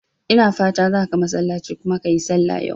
Ina fatan zaka masallace kuma ka yi sallah yau?